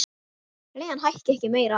Leigan hækki ekki meira.